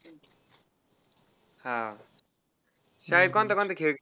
हा. काय कोणता कोणता खेळ